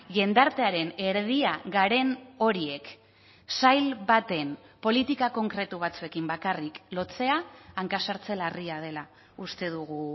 jendartearen erdia garen horiek sail baten politika konkretu batzuekin bakarrik lotzea hanka sartze larria dela uste dugu